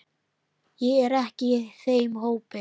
Ég er ekki í þeim hópi.